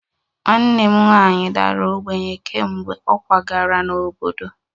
Nwanne m nwanyị dara ogbenye kemgbe ọ kwagara n'obodo